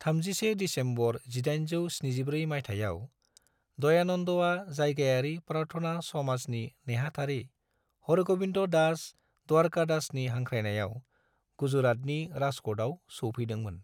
31 December 1874 मायथाइयाव, दयानन्दआ जायगायारि प्रार्थना समाजनि नेहाथारि हरग'विंद दास द्वारकादासनि हांख्रायनायाव गुजरातनि राजक'टआव सौफैदोंमोन।